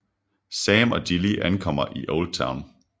Sam og Gilly ankommer i Oldtown